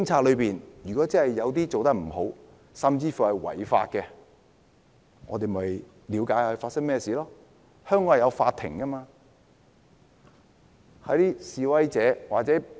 如果真的有警察做得不好，甚至違法，我們應該了解發生甚麼事情，交由法庭處理。